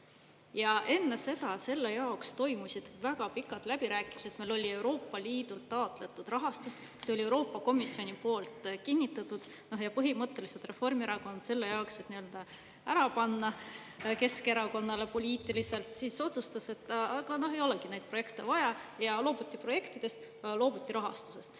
Ja enne seda selle jaoks toimusid väga pikad läbirääkimised, meil oli Euroopa Liidult taotletud rahastus, see oli Euroopa Komisjoni poolt kinnitatud, ja põhimõtteliselt Reformierakond selle jaoks, et nii-öelda ära panna Keskerakonnale poliitiliselt, siis otsustas, et aga no ei olegi neid projekte vaja, ja loobuti projektidest, loobuti rahastusest.